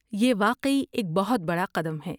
یہ واقعی ایک بہت بڑا قدم ہے۔